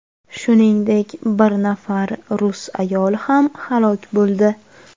Shuningdek, bir nafar rus ayoli ham halok bo‘ldi.